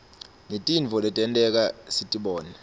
ngetintfo letenteka sitibona